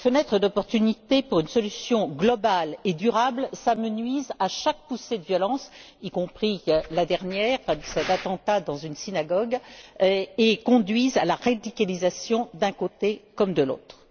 Les fenêtres d'opportunité pour une solution globale et durable s'amenuisent à chaque poussée de violence, y compris la dernière cet attentat dans une synagogue et conduisent à la radicalisation d'un côté comme de l'autre.